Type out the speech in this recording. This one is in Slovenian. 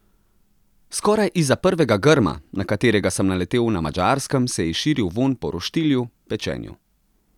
Skoraj izza prvega grma, na katerega sem naletel na Madžarskem, se je širil vonj po roštilju, pečenju.